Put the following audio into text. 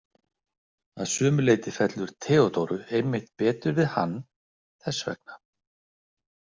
Að sumu leyti fellur Theodóru einmitt betur við hann þess vegna.